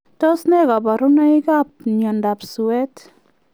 Tos nee kabarunoik ap miondoo suweet